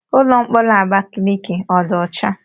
Ụlọ mkpọrọ Abakaliki ọ dị ọcha?